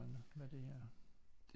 Hvad er det her